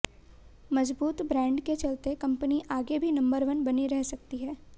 मजबूत ब्रैंड के चलते कंपनी आगे भी नंबर वन बनी रह सकती है